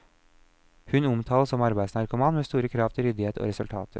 Hun omtales som arbeidsnarkoman med store krav til ryddighet og resultater.